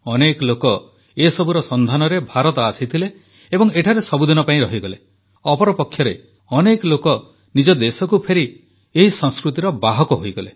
ଅନେକ ଲୋକ ଏସବୁର ସନ୍ଧାନରେ ଭାରତ ଆସିଥିଲେ ଏବଂ ଏଠାରେ ସବୁଦିନ ପାଇଁ ରହିଗଲେ ଅପରପକ୍ଷରେ ଅନେକ ଲୋକ ନିଜ ଦେଶକୁ ଫେରି ଏହି ସଂସ୍କୃତିର ବାହକ ହୋଇଗଲେ